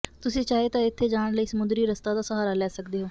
ਤੁਸੀ ਚਾਹੇ ਤਾਂ ਇੱਥੇ ਜਾਣ ਲਈ ਸਮੁੰਦਰੀ ਰਸਤਾ ਦਾ ਸਹਾਰਾ ਲੈ ਸੱਕਦੇ ਹੋ